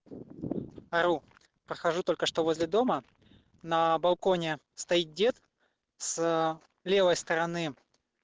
ору прохожу только что возле дома на балконе стоит дед с левой стороны